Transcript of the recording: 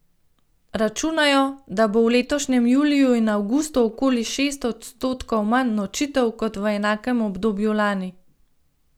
Računajo, da bo v letošnjem juliju in avgustu okoli šest odstotkov manj nočitev kot v enakem obdobju lani.